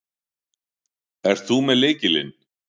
Ert þú með lykilinn?